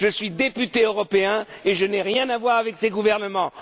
Je suis député européen et je n'ai rien à voir avec ces gouvernements.